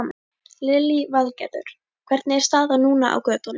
Lillý Valgerður: Hvernig er staðan núna á götunum?